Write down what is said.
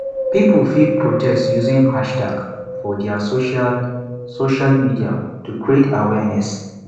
pipo fit protest using hashtags for their social social medial to create awearness